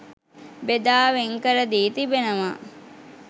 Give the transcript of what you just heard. බෙදා වෙන්කර දී තිබෙනවා.